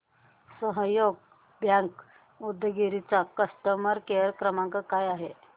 सहयोग बँक उदगीर चा customer care क्रमांक काय आहे